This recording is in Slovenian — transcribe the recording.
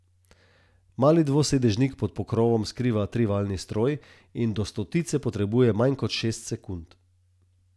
Mali dvosedežnik pod pokrovom skriva trivaljni stroj in do stotice potrebuje manj kot šest sekund.